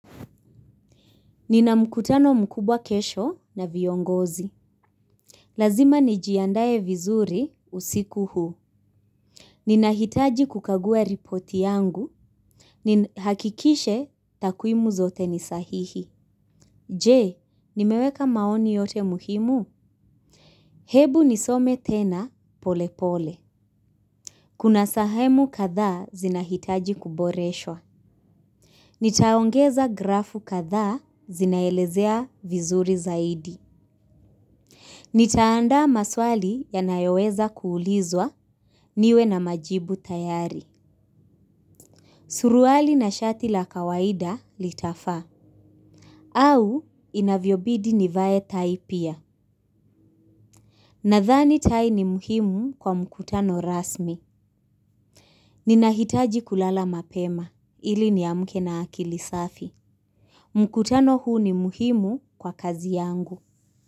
Nina mkutano mkubwa kesho na viongozi. Lazima nijiandae vizuri usiku huu. Ninahitaji kukagua ripoti yangu. Nihakikishe takwimu zote ni sahihi. Je, nimeweka maoni yote muhimu? Hebu nisome tena, polepole. Kuna sahemu kadhaa zinahitaji kuboreshwa. Nitaongeza grafu katha zinaelezea vizuri zaidi. Nitaanda maswali yanayoweza kulizwa niwe na majibu tayari. Suruali na shati la kawaida litafaa. Au inavyobidi nivae tai pia. Nadhani tai ni muhimu kwa mkutano rasmi. Ninahitaji kulala mapema ili niamke na akili safi. Mkutano huu ni muhimu kwa kazi yangu.